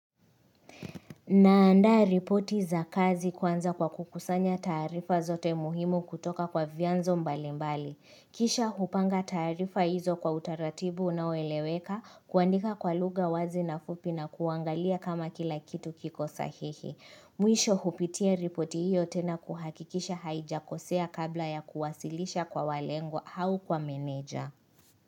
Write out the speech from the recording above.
Nandaa ripoti za kazi kwanza kwa kukusanya taarifa zote muhimu kutoka kwa vyanzo mbali mbali. Kisha hupanga taarifa hizo kwa utaratibu unaoeleweka kuandika kwa lugha wazi na fupi na kuangalia kama kila kitu kiko sahihi. Mwisho hupitia ripoti hiyo tena kuhakikisha haijakosea kabla ya kuwasilisha kwa walengwa au kwa meneja.